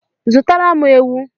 Zụtara m ewu